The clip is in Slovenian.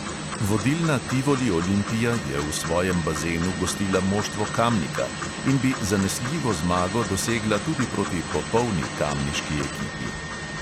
Vodilna tivoli olimpija je v svojem bazenu gostila moštvo kamnika in bi zanesljivo zmago dosegla tudi proti popolni kamniški ekipi.